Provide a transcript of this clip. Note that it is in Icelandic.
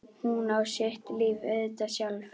Hún á sitt líf auðvitað sjálf.